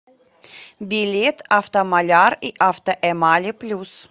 билет автомаляр и автоэмали плюс